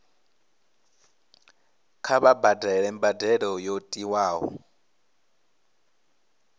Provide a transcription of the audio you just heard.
kha vha badele mbadelo yo tiwaho